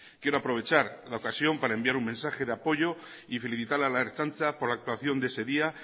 quiero aprovechar la ocasión para enviar un mensaje de apoyo y felicitar a la ertzaintza por la actuación de ese día